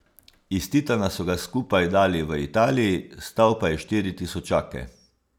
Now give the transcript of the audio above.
Iz titana so ga skupaj dali v Italiji, stal pa je štiri tisočake.